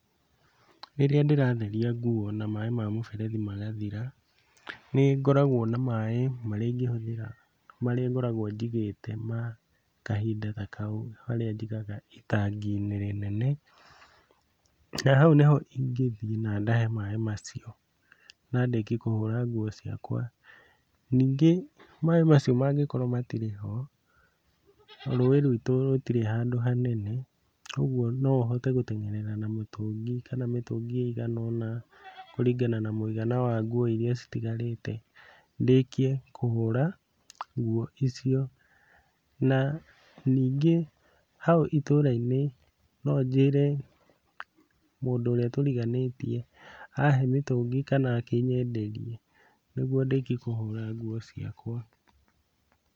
Rĩrĩa ndĩratheria nguo na maaĩ ma mũberethi magathira, nĩ ngoragwo na maaĩ marĩa ingĩhũthĩra nĩ harĩa maaĩ ngoragwo njigĩte ma kahinda ta kau, harĩa njigaga itagi-inĩ rĩnene, na hau nĩho ingĩthiĩ na ndahe maaĩ macio na ndĩkie kũhũra nguo ciakwa, ningĩ maaĩ macio mangĩkorwo matirĩ ho, rũĩ rwitũ rũtirĩ handũ hanene, kũgwo no hote gũtengerera na mũtũngi , kana mĩtũngi ĩigana ona kũringana na mũigana wa nguo iria citigarĩte , ndĩkie kũhũra nguo icio, na ningĩ hau itũra-inĩ no njĩre mũndũ ũrĩa tũriganĩtie ahe mũtũngi kana akĩnyenderie , nĩguo ndĩkie kũhũra nguo ciakwa.